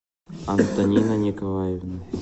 антонина николаевна